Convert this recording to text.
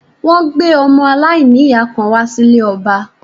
Wọ́n gbé ọmọ aláìníyàá kan wá sí ilé ọba